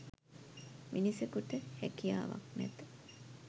මිනිසකුට හැකියාවක් නැත